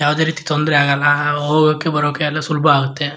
ಯಾವದೇ ರೀತಿ ತೊದ್ರೆ ಆಗಲ್ಲ ಹೋಗೋಕೆ ಬರಕ್ಕೆ ಸುಲಭ ಆಗತ್ತೆ.